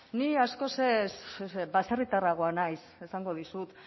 ni askoz baserritarragoa naiz esango dizut